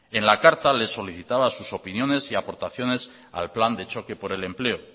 en la carta les solicitaba sus opiniones y aportaciones al plan de choque por el empleo